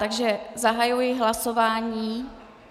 Takže zahajuji hlasování.